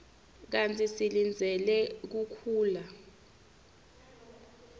kantsi silindzele kukhula